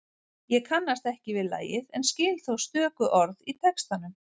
Ég kannast ekki við lagið en skil þó stöku orð í textanum.